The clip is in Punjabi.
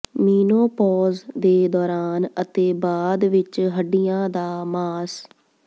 ਮੀਨੋਪੌਜ਼ ਦੇ ਦੌਰਾਨ ਅਤੇ ਬਾਅਦ ਵਿਚ ਹੱਡੀਆਂ ਦਾ ਮਾਸ